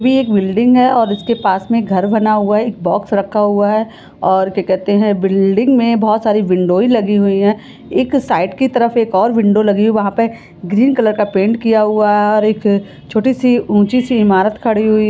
Building है और उसके पास में घर बना हुआ है एक बॉक्स रखा हुआ है और क्या कहते है बिल्डिंग में बहुत सारे विंडो ऐ लगे हुए है एक साइड की तरफ और विडो लगी है वह पे ग्रीन कलर का पेंट किया हुआ है और एक छोटी सी ऊंची सी ईमारत खड़ी हुई है।